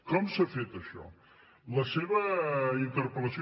com s’ha fet això la seva interpel·lació